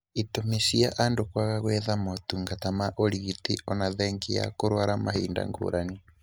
Itũmi cia andũ kwaga gwetha motungata ma ũrigiti oona thengia wa kũrwara mahinda ngũrani